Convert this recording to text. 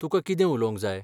तुकां कितें उलोवंक जाय?